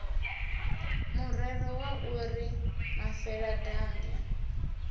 murero wa u ri mafeladambwa